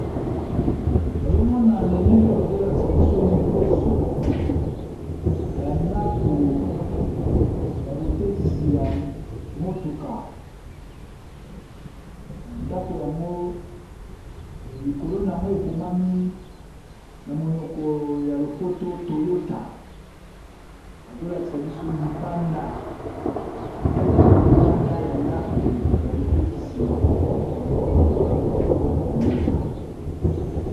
Nazomona na elilio bazolakisa biso liboso ya ndako ya botekisi ya motuka ndako yango likolo nango ekomami o monoko ya lopoto Toyota bazo lakisa biso libanda etaleli ya libanda ya ndako ya botekisi ya motuka Toyota.